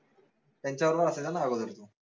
त्यांच्या बरोबर असायचा ना अगोदर तू